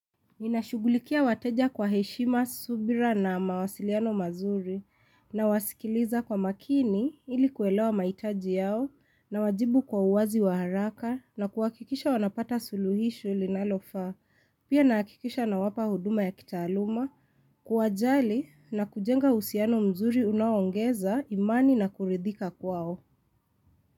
Ninashughulikia wateja kwa heshima subira na mawasiliano mazuri na wasikiliza kwa makini ilikuelewa maitaji yao nawajibu kwa uwazi wa haraka na kuhakikisha wanapata suluhisho linalofa, pia nahakikisha nawapa huduma ya kitaaluma, kuwajali na kujenga uhusiano mzuri unaongeza imani na kuridhika kwao.